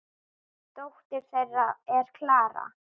Dóttir þeirra er Klara.